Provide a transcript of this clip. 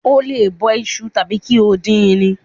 O lè bọ iṣu tàbí kí o dín in.